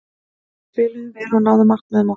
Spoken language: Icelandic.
Við spiluðum vel og náðum markmiðum okkar.